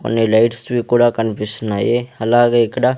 కొన్ని లైట్స్ వి కూడా కన్పిస్తున్నాయి అలాగే ఇక్కడ.